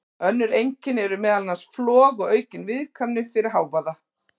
Önnur einkenni eru meðal annars flog og aukin viðkvæmni fyrir hávaða.